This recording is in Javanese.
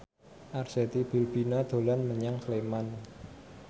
Arzetti Bilbina dolan menyang Sleman